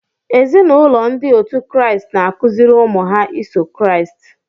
Ézì na ụlọ ndị òtù Christ n'akụziri ụmụ ha iso Christ.